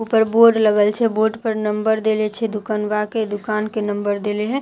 ऊपर बोर्ड लगल छे बोर्ड पर नंबर देलए छे दुकनवा के दुकान के नंबर देले हे--